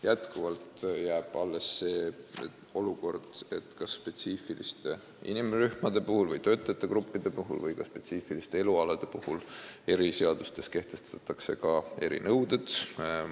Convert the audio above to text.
Jätkuvalt jääb alles võimalus, et spetsiifiliste inimrühmade või töötajagruppide või ka spetsiifiliste elualade kohta kehtestatakse eriseadustes erinõuded.